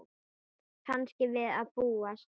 Kannski við að búast.